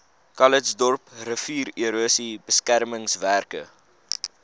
calitzdorp riviererosie beskermingswerke